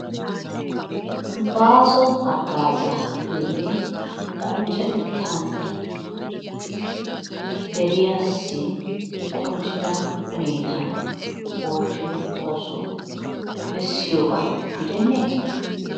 Baaso hagaazzaa giyoogee qonccetettan de'idi deriyaassi qonccida huneetan oottiyo ooso bessiyoba gidenee?